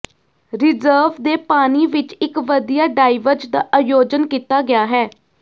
reserve ਦੇ ਪਾਣੀ ਵਿੱਚ ਇੱਕ ਵਧੀਆ ਡਾਇਵਜ਼ ਦਾ ਆਯੋਜਨ ਕੀਤਾ ਗਿਆ ਹੈ